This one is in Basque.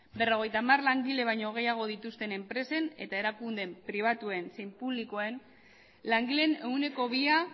berrogeita hamar langile baino gehiago dituzten enpresen eta erakunde pribatuen zein publikoen langileen ehuneko bia